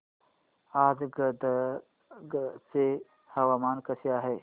आज गदग चे हवामान कसे आहे